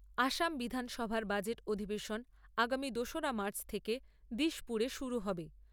আসাম বিধানসভার বাজেট অধিবেশন আগামী দোসরা মার্চ থেকে দিশপুরে শুরু হবে।